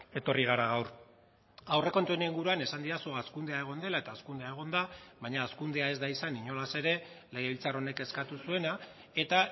etorri gara gaur aurrekontuen inguruan esan didazu hazkundea egon dela eta hazkundea egon da baina hazkundea ez da izan inolaz ere legebiltzar honek eskatu zuena eta